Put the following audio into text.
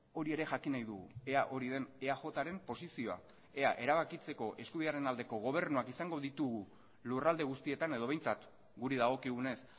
hori ere jakin nahi dugu ea hori den eajren posizioa ea erabakitzeko eskubidearen aldeko gobernuak izango ditugu lurralde guztietan edo behintzat guri dagokigunez